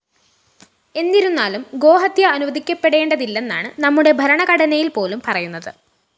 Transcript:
എന്നിരുന്നാലും ഗോഹത്യ അനുവദിക്കപ്പെടേണ്ടതില്ലെന്നാണ് നമ്മുടെ ഭരണഘടനയില്‍പ്പോലും പറയുന്നത്